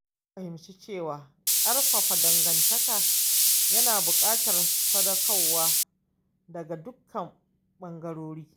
Na fahimci cewa ƙarfafa dangantaka yana buƙatar sadaukarwa daga dukkan bangarorin.